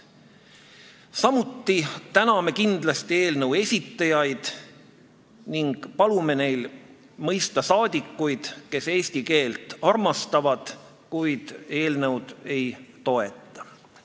Samuti täname kindlasti eelnõu esitajaid ning palume neil mõista neid saadikuid, kes eesti keelt armastavad, kuid eelnõu ei toeta.